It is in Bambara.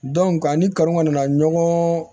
a ni kanu kɔni nana ɲɔgɔn